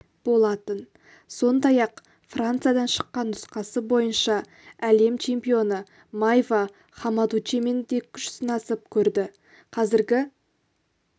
болатын сондай-ақ франциядан шыққан нұсқасы бойынша әлем чемпионы майва хамадучемен де күш сынасып көрді қазіргі